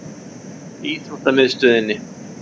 Íþróttamiðstöðinni